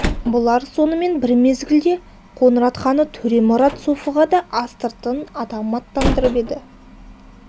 бұлар сонымен бір мезгілде қоңырат ханы төремұрат софыға да астыртын адам аттандырып еді